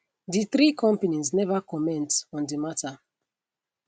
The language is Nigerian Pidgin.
di three companies neva comment on di mata